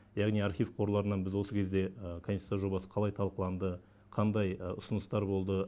яғни архив қорларынан біз осы кезде конституция жобасы қалай талқыланды қандай ұсыныстар болды